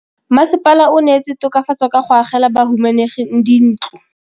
Mmasepala o neetse tokafatsô ka go agela bahumanegi dintlo.